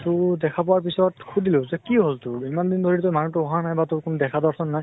তʼ দেখা পোৱাৰ পিছত সুধিলো কি হল তোৰ? ইমান দিন ধৰি তই মানুহ টো অহা নাই বা তোৰ কোনো দেখা দৰ্শন নাই?